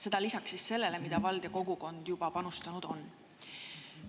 Seda lisaks sellele, mida vald ja kogukond juba sinna panustanud on.